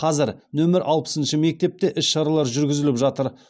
қазір нөмір алпысыншы мектепте іс шаралар жүргізіліп жатыр